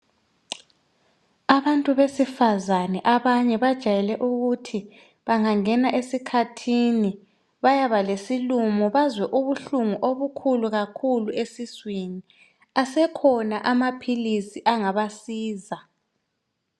Abantu besifazane abanye bajayele ukuthi bangangena esikhathini bayaba lesilumo bazwe ubuhlungu obokhulu kakhulu esiswini, asekhona amaphilisi angabasiza